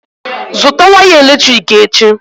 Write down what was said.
Zụtà waya eletrik echi!